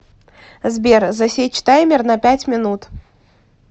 сбер засечь таймер на пять минут